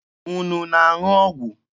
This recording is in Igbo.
Unu na-aṅụ ọgwụ?